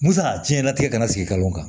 N san a jiyɛn latigɛ kana sigi ka mun kan